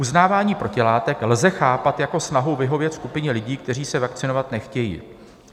Uznávání protilátek lze chápat jako snahu vyhovět skupině lidí, kteří se vakcinovat nechtějí.